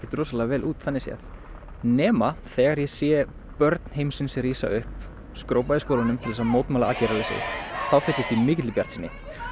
rosalega vel út þannig séð nema þegar ég sé börn heimsins rísa upp skrópa í skólanum til þess að mótmæla aðgerðarleysi þá fyllist ég mikilli bjartsýni